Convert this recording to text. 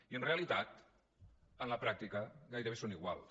i en realitat en la pràctica gairebé són iguals